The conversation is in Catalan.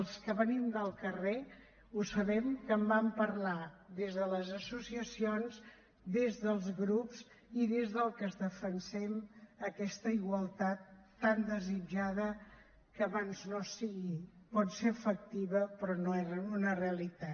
els que venim del carrer ho sabem que en vam parlar des de les associacions des dels grups i des dels que defensem aquesta igualtat tan desitjada que abans no sigui pot ser efectiva però no era una realitat